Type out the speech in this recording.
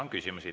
On küsimusi.